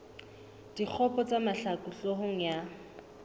dikgopo tsa mahlaku hloohong ya